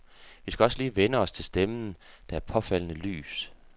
Vi skal også lige vænne os til stemmen, der er påfaldende lys.